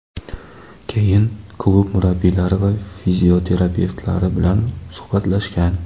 Keyin klub murabbiylari va fizioterapevtlari bilan suhbatlashgan.